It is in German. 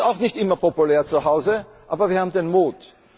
Das ist auch nicht immer populär im Hause, aber wir haben den Mut.